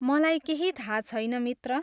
मलाई केही थाहा छैन, मित्र।